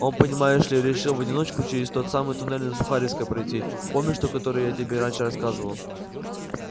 он понимаешь ли решил в одиночку через тот самый туннель на сухаревской пройти помнишь то который я тебе раньше рассказывал